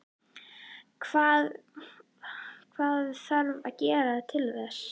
Hvað þarf að gerast til þess?